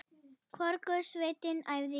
Hvorug sveitin æfði í gær.